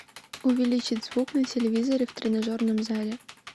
увеличить звук на телевизоре в тренажерном зале